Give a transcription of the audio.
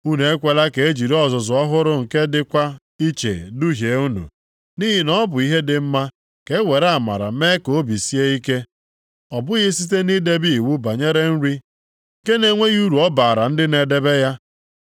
Unu ekwela ka e jiri ozizi ọhụrụ nke dịkwa iche duhie unu. Nʼihi na ọ bụ ihe dị mma ka e were amara mee ka obi sie ike, ọ bụghị site nʼidebe iwu banyere nri nke na-enweghị uru ọ bara ndị na-edebe ya.